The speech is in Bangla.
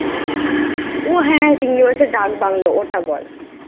ওহ ওহ চিংড়ি মাছের ডাকবাংলো। ওটা বল?